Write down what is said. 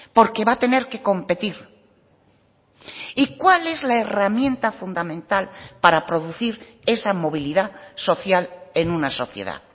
porque va a tener que competir y cuál es la herramienta fundamental para producir esa movilidad social en una sociedad